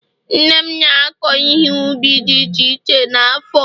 nne m na-akọ ihe ubi dị iche iche n'afo